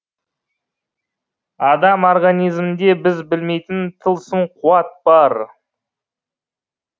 адам организмінде біз білмейтін тылсым қуат бар